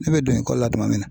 Ne bɛ don ikɔli la tuma min